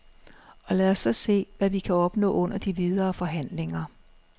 Og lad os så se, hvad vi kan opnå under de videre forhandlinger.